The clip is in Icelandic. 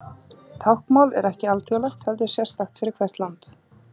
Táknmál er ekki alþjóðlegt heldur sérstakt fyrir hvert land.